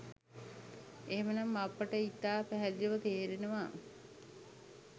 එහෙම නම් අපට ඉතා පැහැදිලිව තේරෙනවා